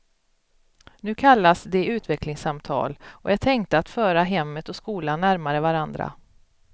Nu kallas de utvecklingssamtal, och är tänkta att föra hemmet och skolan närmare varandra.